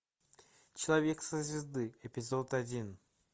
человек со звезды эпизод один